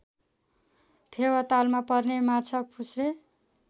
फेवातालमा पर्ने माछापुच्छ्रे